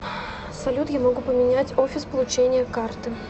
салют я могу поменять офис получения карты